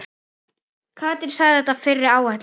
Katrín sagði þetta fyrri áætlun.